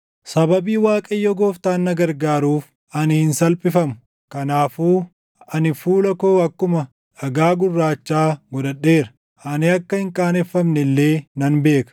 Sababii Waaqayyo Gooftaan na gargaaruuf, ani hin salphifamu. Kanaafuu ani fuula koo akkuma dhagaa gurraachaa godhadheera; ani akka hin qaaneffamne illee nan beeka.